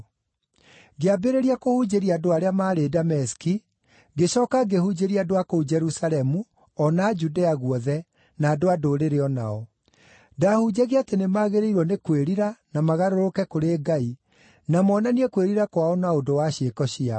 Ngĩambĩrĩria kũhunjĩria andũ arĩa maarĩ Dameski, ngĩcooka ngĩhunjĩria andũ a kũu Jerusalemu o na a Judea guothe, na andũ-a-Ndũrĩrĩ o nao. Ndaahunjagia atĩ nĩmagĩrĩirwo nĩ kwĩrira na magarũrũke kũrĩ Ngai, na moonanie kwĩrira kwao na ũndũ wa ciĩko ciao.